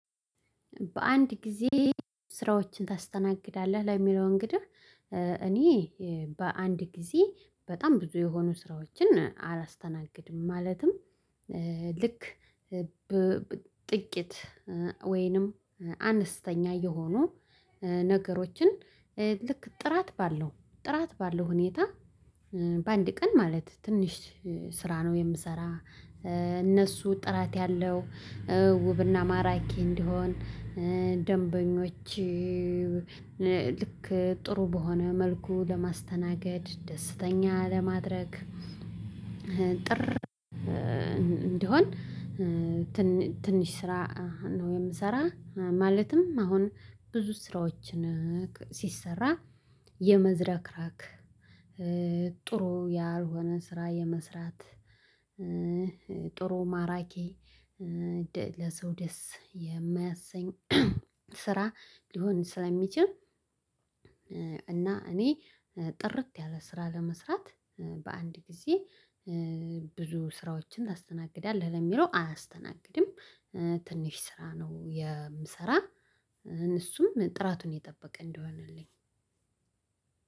በአንድ ጊዜ ስራዎችን ታስተናግዳለህ? ለሚለው እንግዲህ እኔ በአንድ ጊዜ በጣም ብዙ የሆኑ ስራዎችን አላስተናግድም። ማለትም ልክ ጥቂት ወይንም አነስተኛ የሆኑ ነገሮችን ልክ ጥራት ባለው ጥራት ባለው ሁኔታ በአንድ ቀን ማለት ትንሽ ስራ ነው የምሰራ። እነሱ ጥራት ያለው ውብና ማራኪ እንዲሆን ደንበኞች ልክ ጥሩ በሆነ መልኩ ለማስተናገድ ደስተኛ ለማድረግ ጥር እንዲሆን ትንሽ ስራ ነው የምሰራ ማለትም አሁን ብዙ ስራዎችን ሲሰራ የመዝረክራክ ጥሩ ያልሆነ ስራ የመስራት ጥሩ ማራኪ ለሰው ደስ የማያሰኝ ስራ ሊሆን ስለሚችል። እና እኔ ጥርት ያለ ስራ ለመስራት በአንድ ጊዜ ብዙ ስራዎችን ታስተናግዳለህ ለሚለው አላስተናግድም። ትንሽ ስራ ነው የምሰራ እነሱም ጥራቱን የጠበቀ እንደሆነልኝ።